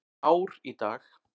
Ár í dag.